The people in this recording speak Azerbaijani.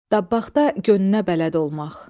Dabbaqda gönünə bələd olmaq.